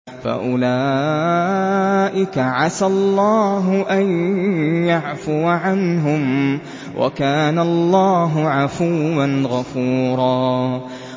فَأُولَٰئِكَ عَسَى اللَّهُ أَن يَعْفُوَ عَنْهُمْ ۚ وَكَانَ اللَّهُ عَفُوًّا غَفُورًا